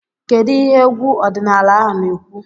Kedu ihe egwu ọdịnala ahụ na-ekwu?